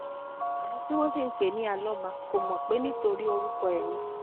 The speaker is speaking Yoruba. àwọn tí wọn sì ń pè é ní alọmà kò mọ pé nítorí orúkọ ẹ ni